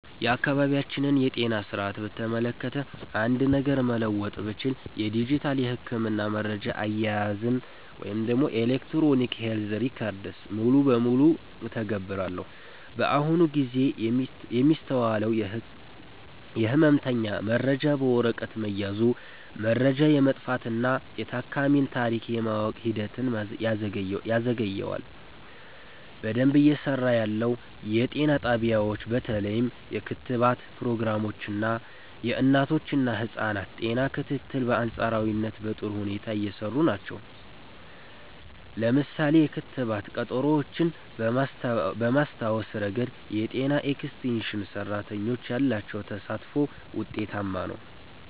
የአካባቢያችንን የጤና ሥርዓት በተመለከተ አንድ ነገር መለወጥ ብችል፣ የዲጂታል የሕክምና መረጃ አያያዝን (Electronic Health Records) ሙሉ በሙሉ እተገብራለሁ። በአሁኑ ጊዜ የሚስተዋለው የሕመምተኛ መረጃ በወረቀት መያዙ፣ መረጃ የመጥፋትና የታካሚን ታሪክ የማወቅ ሂደትን ያዘገየዋል። በደንብ እየሰራ ያለው፦ የጤና ጣቢያዎች በተለይም የክትባት ፕሮግራሞች እና የእናቶችና ህፃናት ጤና ክትትል በአንፃራዊነት በጥሩ ሁኔታ እየሰሩ ናቸው። ለምሳሌ፣ የክትባት ቀጠሮዎችን በማስታወስ ረገድ የጤና ኤክስቴንሽን ሰራተኞች ያላቸው ተሳትፎ ውጤታማ ነው።